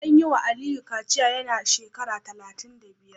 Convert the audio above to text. An yi wa Aliyu kaciya yana da shekara talatin da biyar